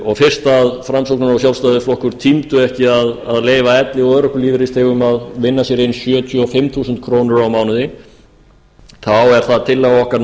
og fyrst framsóknar og sjálfstæðisflokkur tímdu ekki að leyfa elli og örorkulífeyrisþegum að vinna sér inn sjötíu og fimm þúsund krónur á mánuði þá er það tillaga okkar